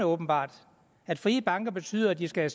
åbenbart at frie banker betyder at de skal